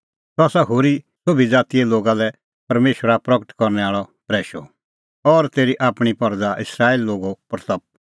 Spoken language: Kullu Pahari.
सह आसा होरी सोभी ज़ातीए लोगा लै परमेशरा प्रगट करनै आल़अ प्रैशअ और तेरी आपणीं परज़ा इस्राएली लोगे महिमां